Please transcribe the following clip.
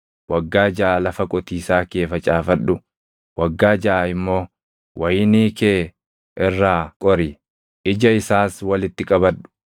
Waggaa jaʼa lafa qotiisaa kee facaafadhu; waggaa jaʼa immoo wayinii kee irraa qori; ija isaas walitti qabadhu.